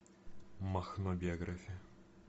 махно биография